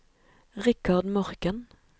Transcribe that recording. Richard Morken